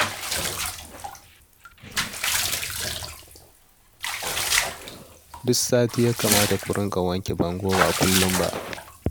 Duk sati ya kamata ku dinga wanke bangon ba kullum ba